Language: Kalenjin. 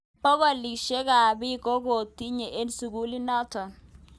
Bokolushek ab bik kokituyo eng sukulinotok.